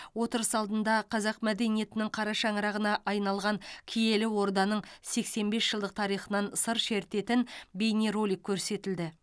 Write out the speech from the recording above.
отырыс алдында қазақ мәдениетінің қара шаңырағына айналған киелі орданың сексен бес жылдық тарихынан сыр шертетін бейнеролик көрсетілді